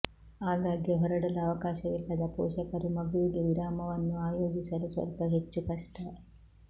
ಆಗಾಗ್ಗೆ ಹೊರಡಲು ಅವಕಾಶವಿಲ್ಲದ ಪೋಷಕರು ಮಗುವಿಗೆ ವಿರಾಮವನ್ನು ಆಯೋಜಿಸಲು ಸ್ವಲ್ಪ ಹೆಚ್ಚು ಕಷ್ಟ